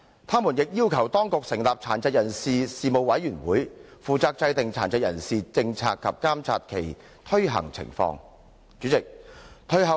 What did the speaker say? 他們亦要求當局成立殘疾人士事務委員會，負責制訂殘疾人士政策及監察其推行情況。